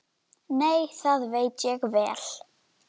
Nei, það veit ég vel.